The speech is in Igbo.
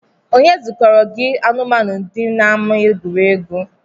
Onye zukọrọ gị anụmaanu dị n’ama egwuregwu?